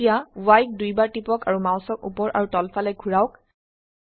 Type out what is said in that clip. এতিয়া Yক দুইবাৰ টিপক আৰু মাউসক উপৰ আৰু তলফালে ঘোৰাওক